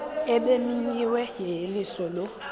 ebimenyiwe yeyeliso lo